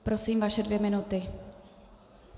Prosím, vaše dvě minuty.